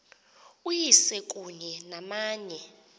uyise kunye namanye